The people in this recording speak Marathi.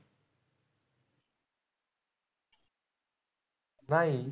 नाही.